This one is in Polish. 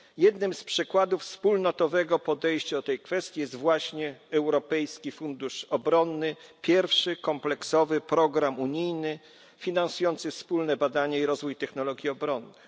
Jednym z przykładów wspólnotowego podejścia do tej kwestii jest właśnie Europejski Fundusz Obronny pierwszy kompleksowy program unijny finansujący wspólne badania i rozwój technologii obronnych.